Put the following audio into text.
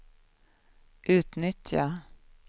utnyttja